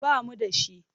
Ba mu da shi.